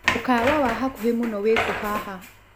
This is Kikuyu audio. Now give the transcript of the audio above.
mũkawa wa hakũhĩ mũno wĩkũ haha